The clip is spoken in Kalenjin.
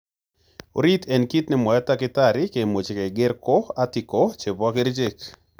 Orit en kit ne mwae takitatari kimuche keger ko Article chepo kerichek.